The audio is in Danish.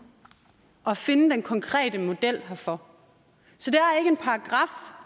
at finde den konkrete model herfor så